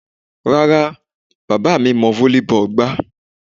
Rárá, bàbá mi mọ volleyball gbá.